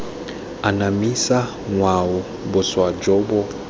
anamisa ngwao boswa jo bo